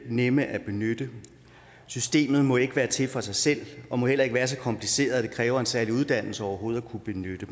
nemt at benytte systemet må ikke være til for sig selv og må heller ikke være så kompliceret at det kræver en særlig uddannelse overhovedet at kunne benytte